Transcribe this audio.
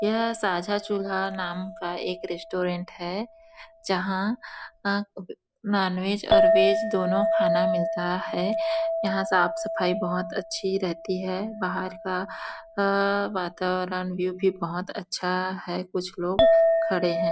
यह साझा चूल्हा नाम का एक रेस्टोरेंट है जहाँ अ नॉन वेज और वेज दोनों खाना मिलता है यहाँ साफ-सफाई बहोत अच्छी रहती है बाहर का आ वातावरण व्यू बहुत अच्छा है कुछ लोग खड़े है ।